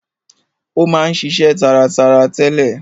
Ó ma ń ṣiṣe taratara tẹ́lẹ̀.